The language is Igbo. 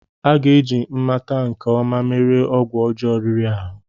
A ga-eji mmata nke ọma merie ọgwụ ọjọọ riri ahụ.